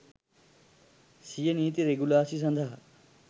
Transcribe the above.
සිය නීති රෙගුලාසි සඳහා